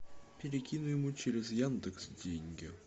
перекинь ему через яндекс деньги